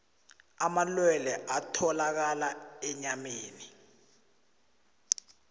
amalwelwe atholakala enyameni